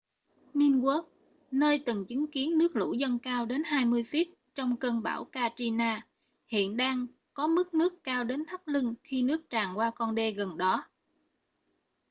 ninth ward nơi từng chứng kiến nước lũ dâng cao đến 20 feet trong cơn bão katrina hiện đang có mức nước cao đến thắt lưng khi nước tràn qua con đê gần đó